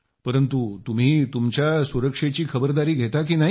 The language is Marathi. परंतु तुम्ही तुमच्या सुरक्षेची खबरदारी घेता की नाही